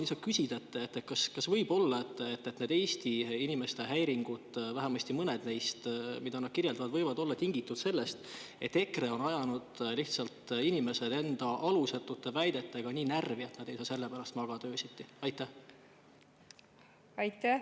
Kas võib olla, et need Eesti inimeste kirjeldatud häiringud, vähemasti mõned neist, võivad olla tingitud sellest, et EKRE on ajanud inimesed enda alusetute väidetega lihtsalt nii närvi, et nad ei saa sellepärast öösiti magada?